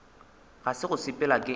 ga se go sepela ke